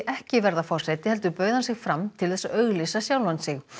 ekki verða forseti heldur bauð hann sig fram til þess að auglýsa sjálfan sig